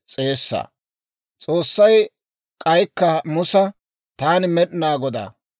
S'oossay k'aykka Musa, «Taani Med'inaa Godaa;